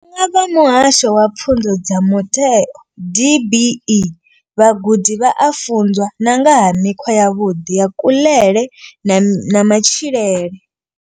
U ya nga vha muhasho wa pfunzo dza mutheo DBE, vhagudi vha a funzwa na nga ha mikhwa yavhuḓi ya kuḽele na matshilele.